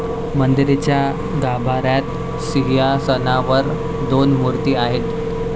मंदिराच्या गाभाऱ्यात सिंहासनावर दोन मूर्ती आहेत.